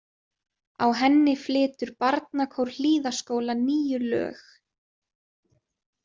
Á henni flytur Barnakór Hlíðaskóla níu lög.